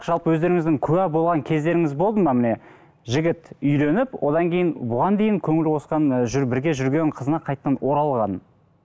жалпы өздеріңіздің куә болған кездеріңіз болды ма міне жігіт үйленіп одан кейін бұған дейін көңіл қосқан і бір жүрген қызына қайтадан оралғанын